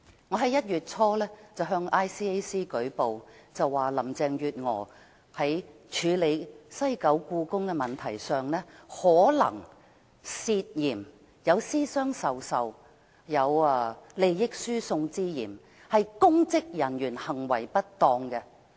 我在1月初向 ICAC 舉報，說林鄭月娥在處理西九故宮一事上可能有私相授受和利益輸送之嫌，屬公職人員行為失當。